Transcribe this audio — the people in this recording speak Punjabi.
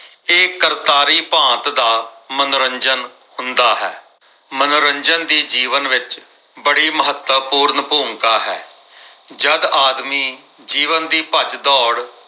ਇਹ ਕਰਤਾਰੀ ਭਾਂਤ ਦਾ ਮਨੋਰੰਜਨ ਹੁੰਦਾ ਹੈ। ਮਨੋਰੰਜਨ ਦੀ ਜੀਵਨ ਵਿੱਚ ਬੜੀ ਮਹੱਤਵਪੂਰਨ ਭੂਮਿਕਾ ਹੈ। ਜਦ ਆਦਮੀ ਜੀਵਨ ਦੀ ਭੱਜ ਦੌੜ